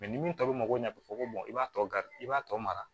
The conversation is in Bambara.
ni min tɔ bɛ mako ɲɛ fɔ ko i b'a tɔ i b'a tɔ mara